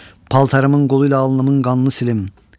Paltarımın qolu ilə alnımın qanını silim.